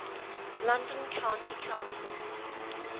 london county council